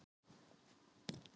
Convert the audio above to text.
Ástbjörn, hvað er í matinn?